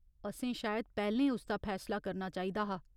असें शायद पैह्‌लें उसदा फैसला करना चाहिदा हा।